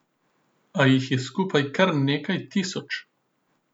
A jih je skupaj kar nekaj tisoč.